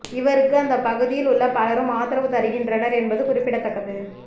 இவருக்கு அந்த பகுதியில் உள்ள பலரும் ஆதரவு தருகின்றனர் என்பது குறிப்பிடத்தக்கது